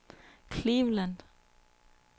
Cleveland